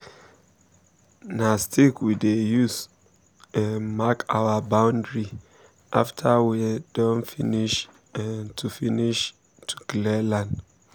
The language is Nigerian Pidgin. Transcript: na stick we dey use um mark our boundary after nwe don finish um to finish um to clear land